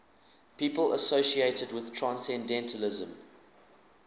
people associated with transcendentalism